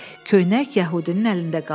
Köynək yəhudinin əlində qaldı.